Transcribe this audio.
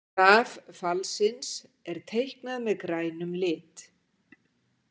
Graf fallsins er teiknað með grænum lit.